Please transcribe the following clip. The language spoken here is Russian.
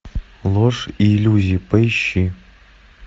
ложь и иллюзии поищи